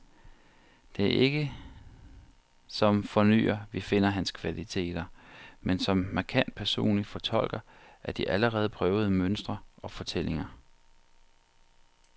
Det er ikke som fornyer, vi finder hans kvaliteter, men som markant personlig fortolker af de allerede prøvede mønstre og fortællinger.